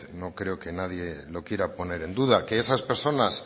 no creo que alguien lo quiera poner en duda que esas personas